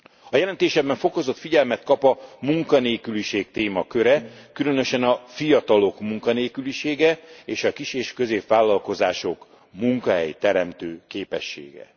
A jelentésemben fokozott figyelmet kap a munkanélküliség témaköre, különösen a fiatalok munkanélkülisége és a kis és középvállalkozások munkahelyteremtő képessége.